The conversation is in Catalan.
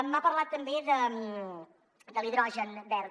m’ha parlat també de l’hidrogen verd